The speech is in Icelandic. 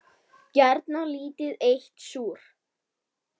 Gjarnan lítið eitt súr.